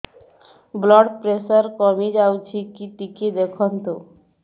blood pressure କମି ଯାଉଛି କି ଟିକେ ଦେଖନ୍ତୁ